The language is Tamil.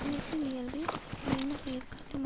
நிலத்தின் இயல்பை அதில் விளைந்த பயிர்காட்டும்